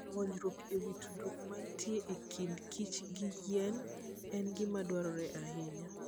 Puonjruok e wi tudruok mantie e kind kich gi yien, en gima dwarore ahinya.